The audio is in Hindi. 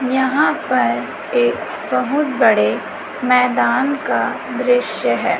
यहा पर एक बहुत बड़े मैदान का दृश्य है।